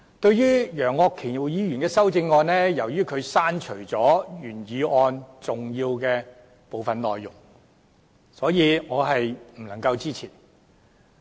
就楊岳橋議員的修正案，由於他刪除了原議案的部分重要內容，所以我是不能支持的。